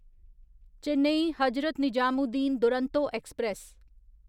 Chennai Hazrat Nizamuddin Duronto express